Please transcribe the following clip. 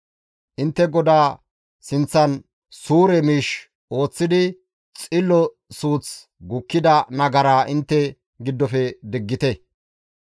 Intte GODAA sinththan suure miish ooththidi xillo suuththi gukkida nagaraa intte giddofe diggite.